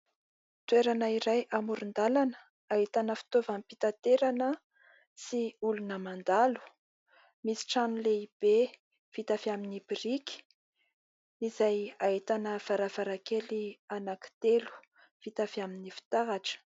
Toerana iray amoron-dalana ahitana fitovam-pitaterana sy olona mandalo. Misy trano lehibe vita avy amin'ny biriky izay ahitana varavarankely anaky telo vita avy amin'ny fitaratra.